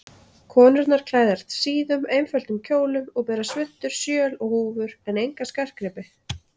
Konurnar klæðast síðum, einföldum kjólum og bera svuntur, sjöl og húfur en enga skartgripi.